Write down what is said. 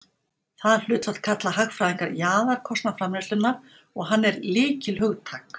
það hlutfall kalla hagfræðingar jaðarkostnað framleiðslunnar og hann er lykilhugtak